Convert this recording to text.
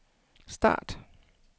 start